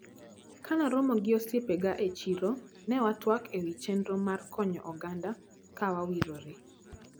Kanaromo gi osiepega e chiro, newatwak ewi chenro mar konyo oganda wa kawariwore.